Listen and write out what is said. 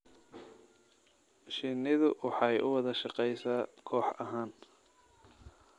Shinnidu waxay u wada shaqeysaa koox ahaan.